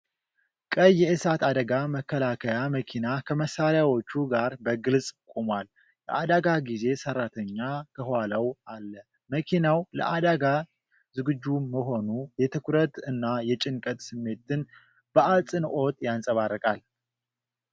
ቀይ የእሳት አደጋ መከላከያ መኪና ከመሳሪያዎቹ ጋር በግልጽ ቆሟል፤ የአደጋ ጊዜ ሰራተኛ ከኋላው አለ። መኪናው ለአደጋ ዝግጁ መሆኑ የትኩረት እና የጭንቀት ስሜትን በአጽንዖት ያንጸባርቃል።